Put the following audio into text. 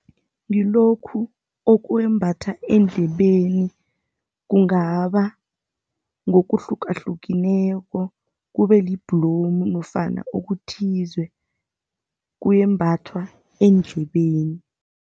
Ngilokhu okwembathwa endlebeni kungaba ngokuhlukahlukeneko, kube libhlomu nofana okuthize, kuyembathwa eendlebeni.